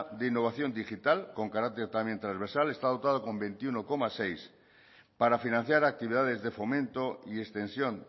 de innovación digital con carácter también trasversal está dotado con veintiuno coma seis para financiar actividades de fomento y extensión